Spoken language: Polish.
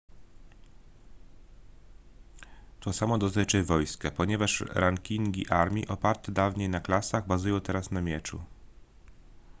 to samo dotyczy wojska ponieważ rankingi armii oparte dawniej na klasach bazują teraz na mieczu